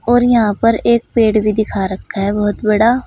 और यहां पर एक पेड़ भी दिखा रखा है बहोत बड़ा।